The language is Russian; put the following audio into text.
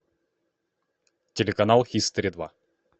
телеканал хистори два